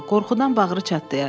Qorxudan bağrı çatlaya.